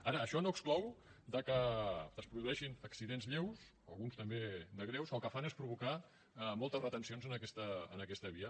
ara això no exclou que es produeixin accidents lleus alguns també de greus que el que fan és provocar moltes retencions en aquesta via